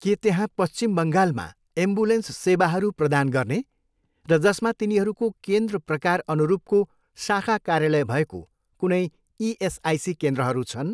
के त्यहाँ पश्चिम बङ्गालमा एम्बुलेन्स सेवाहरू प्रदान गर्ने र जसमा तिनीहरूको केन्द्र प्रकार अनुरूपको शाखा कार्यालय भएको कुनै इएसआइसी केन्द्रहरू छन्?